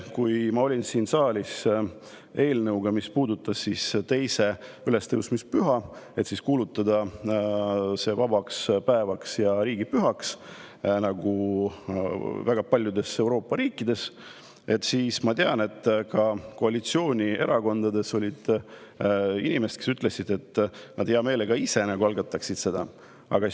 Kui ma olin siin saalis eelnõuga, mis puudutas teist ülestõusmispüha, et kuulutada see vabaks päevaks ja riigipühaks, nagu on väga paljudes Euroopa riikides, siis ma tean, et koalitsioonierakondades oli inimesi, kes ütlesid, et nad hea meelega algataksid selle ise.